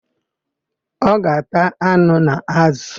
Ọ ga-ata anụ na ázụ̀.